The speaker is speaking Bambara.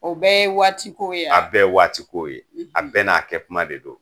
O bɛɛ ye waatikow ye a? A bɛɛ ye waatiko ye. A bɛɛ n'a kɛ kuma de don.